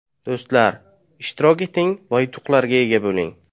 Do‘stlar, ishtirok eting va yutuqlarga ega bo‘ling.